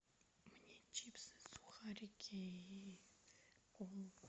мне чипсы сухарики и колу